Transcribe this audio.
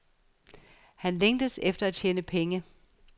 Han længtes efter at tjene penge.